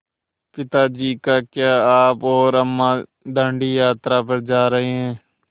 पिता जी क्या आप और अम्मा दाँडी यात्रा पर जा रहे हैं